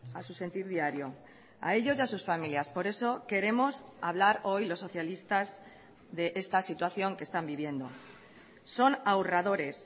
a su sentir diario a ellos y a sus familias por eso queremos hablar hoy los socialistas de esta situación que están viviendo son ahorradores